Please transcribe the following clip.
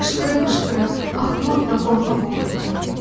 Qışqıra-qışqıra axmaq və qorxaq olduğumu öyüd dedi.